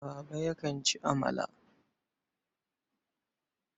Baba yakan ci amala.